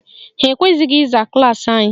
Ha ekweghị ịza klaasị anyị